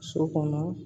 So kɔnɔ